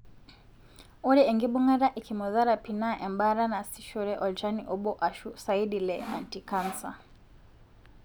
ore engibungata e chemotherapy na embaata nasishore olchani obo ashu saidi le anticanser.